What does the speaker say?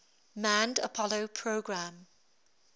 manned apollo program